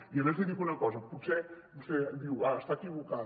i a més li dic una cosa vostè diu està equivocada